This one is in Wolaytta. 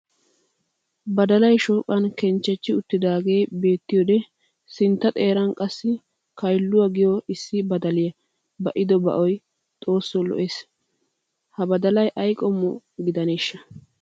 Badalay shooqan kenchchechi uttidaagee beettiyodee sintta xeeran qassi kaylluwa giyo issi badaliya ba'ido ba'oy xooso lo'ees. Ha badalaa qomoy aybba gidaneeshsha?